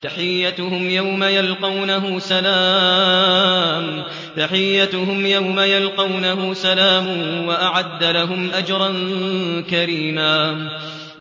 تَحِيَّتُهُمْ يَوْمَ يَلْقَوْنَهُ سَلَامٌ ۚ وَأَعَدَّ لَهُمْ أَجْرًا كَرِيمًا